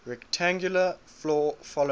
rectangular floor following